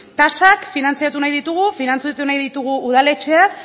tasak finantziatu nahi ditugu finantziatu nahi ditugu udaletxeak